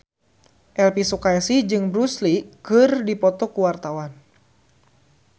Elvy Sukaesih jeung Bruce Lee keur dipoto ku wartawan